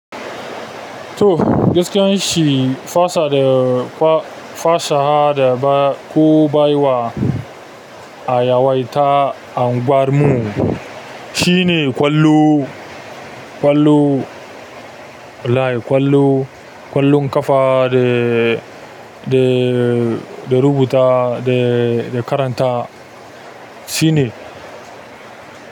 To, gaskiyar shi fasha da ba ko bai wa a yawaita unguwar mu shine ƙwallo, ƙwallo, wallai ƙwallo, ƙwallon ƙafa da, da, da rubuta da, da karanta shine.